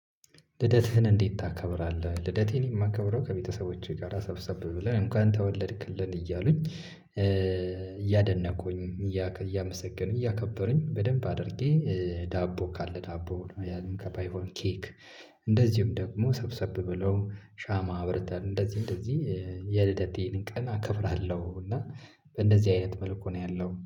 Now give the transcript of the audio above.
ልደትህን እንዴት ታከብራለህ? ልደቴን የማከብረው ከቤተሰቦቼ ጋራ ሰብሰብ ብለን እንኳን ተወለድክልን እያሉኝ እያደነቁኝ እያመሰገንኩኝ እያከበሩኝ በደንብ አድርጌ ዳቦ ካለ ዳቦ ያም እንኳ ባይሆን ኬክ እንደዚሁም ደግሞ ሰብሰብ ብለው ሻማ አብርተን እንደዚህ እንደዚህ የልደቴን ቀና እከብራለሁ። እና በእንደዚህ አይነት መልኩ ነው ያለው